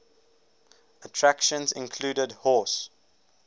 attractions included horse